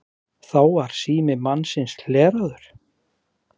Og svo koma þær heim í íbúðina sem er alveg einsog hún var.